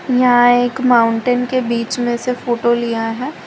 यहां एक माउंटेन के बीच में से फोटो लिया है।